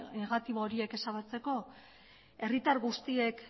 negatibo horiek ezabatzeko herritar guztiek